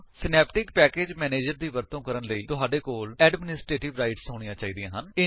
Synaptic package manager ਦੀ ਵਰਤੋ ਕਰਨ ਲਈ ਤੁਹਾਡੇ ਕੋਲ ਐਡਮਿਨਿਸਟ੍ਰੇਟਿਵ ਰਾਇਟਸ ਹੋਣੀਆਂ ਚਾਹੀਦੀਆਂ ਹਨ